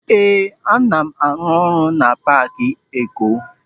Ee, ana m arụ ọrụ na paaki eko.